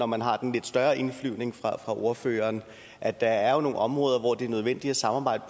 man har den lidt større indflyvning fra ordføreren at der jo er nogle områder hvor det er nødvendigt at samarbejde